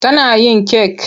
Tana yin kek.